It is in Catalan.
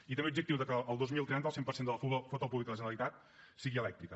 i també l’objectiu que el dos mil trenta el cent per cent de la flota pública de la generalitat sigui elèctrica